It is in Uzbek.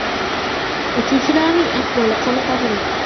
Uchuvchilarning ahvoli qoniqarli.